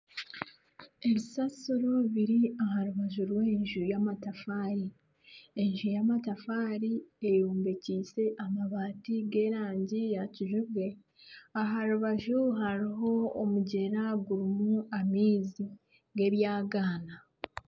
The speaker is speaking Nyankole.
Ebisasiro ebiri aha rubaju rw'enju y'amatafaari enju y'amatafaari eyombekiise amabaati g'erangi ya kijubwe. Aha rubaju hariho omugyera gurimu amaizi g'ebyagaana.